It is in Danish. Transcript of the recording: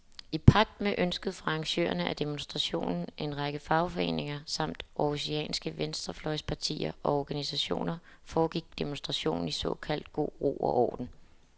I pagt med ønsket fra arrangørerne af demonstrationen, en række fagforeninger samt århusianske venstrefløjspartier og organisationer, foregik demonstrationen i såkaldt god ro og orden.